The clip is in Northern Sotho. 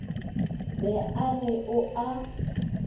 be a re o a